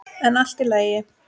En allt í lagi.